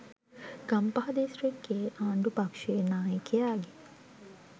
ගම්පහ දිස්‌ත්‍රික්‌කයේ ආණ්‌ඩු පක්‍ෂයේ නායකයාගේ